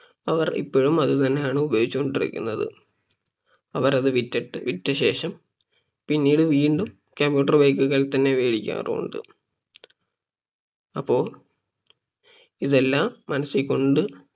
അവർ ഇപ്പോഴും അത് തന്നെയാണ് ഉപയോഗിച്ച് കൊണ്ടിരിക്കുന്നത് അവർ അത് വിട്ടിട്ട് വിറ്റ ശേഷം പിന്നീട് വീണ്ടും commuter bike കൾ തന്നെ വേടിക്കാറുമുണ്ട് അപ്പൊ ഇതെല്ലം മനസ്സിൽ കൊണ്ട്